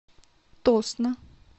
тосно